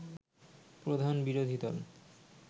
প্রধান বিরোধীদল